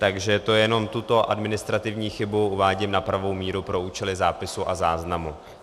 Takže to jenom tuto administrativní chybu uvádím na pravou míru pro účely zápisu a záznamu.